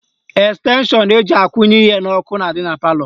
Estenshọn eji akwụnye ihe n'ọkụ na-adị na palọ